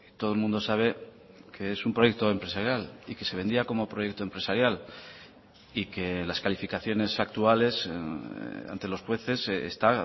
todo el mundo sabe que es un proyecto empresarial y que se vendía como proyecto empresarial y que las calificaciones actuales ante los jueces está